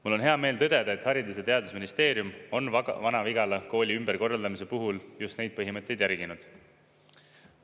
Mul on hea meel tõdeda, et Haridus- ja Teadusministeerium on Vana-Vigala kooli ümberkorraldamise puhul just neid põhimõtteid järginud.